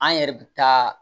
An yɛrɛ bɛ taa